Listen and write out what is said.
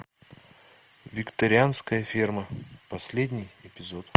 викторианская ферма последний эпизод